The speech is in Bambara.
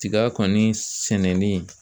Tiga kɔni sɛnɛni